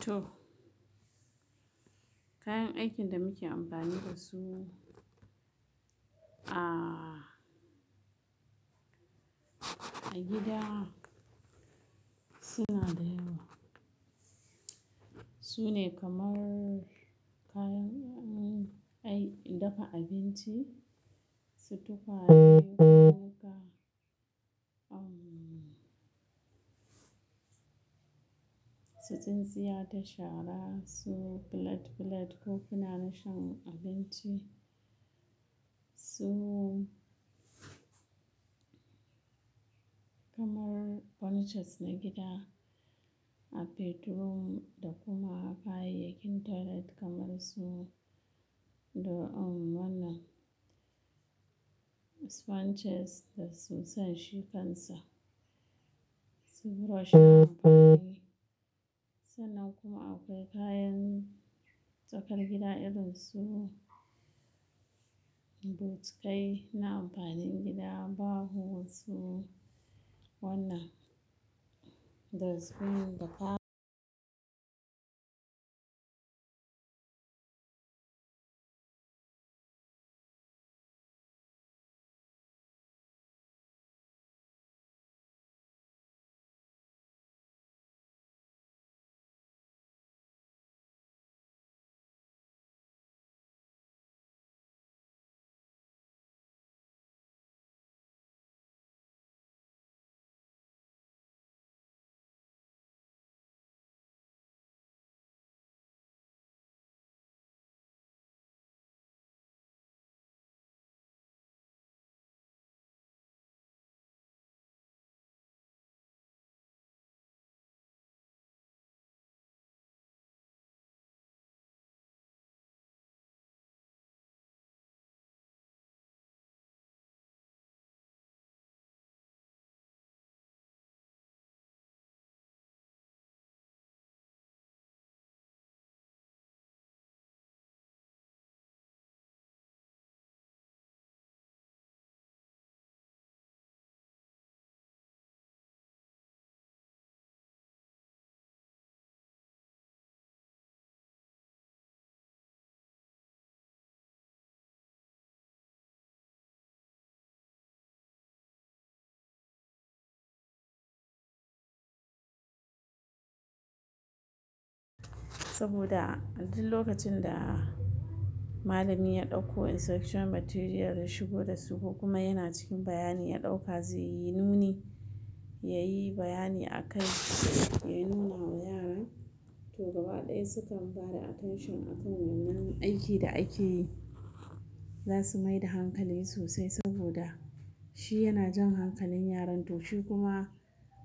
To. Kayan aikin da muke amfani da su a, a gida suna da yawa. Su ne kamar kayan 'yan ai, dafa abinci, su tukwa ne, haka, umm, su tsintsiya ta shara, su plate plate kofina na shan abinci. Su kamar furnitures na gida, a bedroom da kuma a kayayyakin toilet kamar su, da um wannan sponges da sun sashi kansa, su brush, sannan kuma akwai kayan tsakar gida irin su botukai na amfanin gida, baho su wannan dustbin da fa. Saboda duk lokacin da malami ya ɗaukko instructional material ya shigo da su ko kuma yana cikin bayanin ya ɗauka zai yi nuni, ya yi bayani a kai, ya nuna wa yaran, to gaba ɗaya sukan bada attention akan wannan aikin da ake yi. Za su maida hankali sosai saboda shi yana jan hankalin yaran. To shi kuma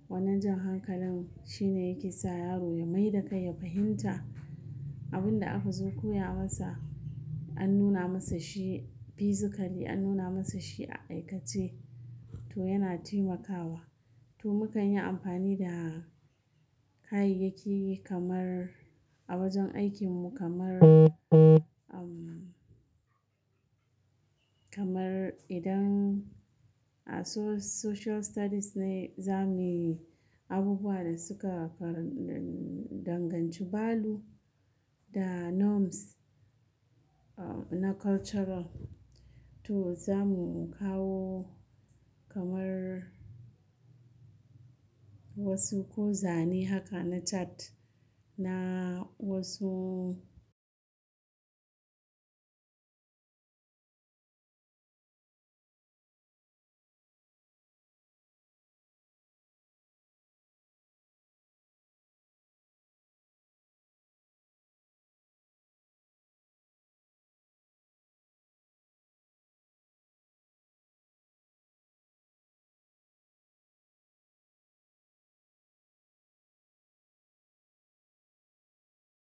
wannan jan hankalin shine yake sa yaro ya maida kai ya fahimta abin da aka zo koya masa. An nuna masa shi physically, an nuna masa shi a aikace, to yana taimakawa. To mu kan yi amfani da kayayyaki kamar a wajen aikin mu kamar, umm, kamar idan a so social studies ne za mu yi abubuwan da suka ka, danganci balu da norms na cultural, to za mu kawo kamar wasu ko zane haka na chart na wasu.